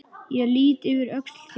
Ég lýt yfir öxl þína.